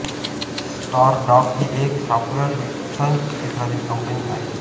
Stardock ही एक software विकसन क्षेत्रातील कंपनी आहे